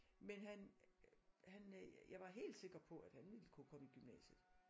Men han øh han øh jeg var helt sikker på at han ville kunne komme i gymnasiet